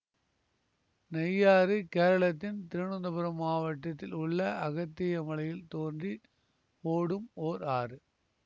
நெய்யாறு கேரளத்தின் திருவனந்தபுரம் மாவட்டத்தில் உள்ள அகத்தியமலையில் தோன்றி ஓடும் ஓர் ஆறு